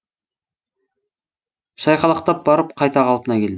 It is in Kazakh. шайқалақтап барып қайта қалпына келді